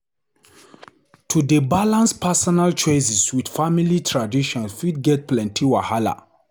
To dey balance personal choices with family traditions fit get plenty wahala.